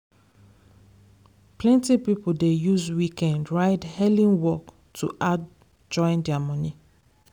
plenty people dey use weekend ride hailing work to add join their money.